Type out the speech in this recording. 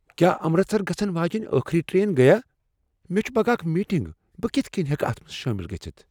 کیا امرستر گژھن واجیٚنہ ٲخٕری ٹرین گٔیا؟ مےٚ چھےٚ پگا اکھ میٹنگ، بہٕ کتھ کٔنۍ ہؠکہٕ اتھ منٛز شٲمل گژھتھ؟